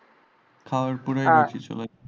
খাওয়ার পরেই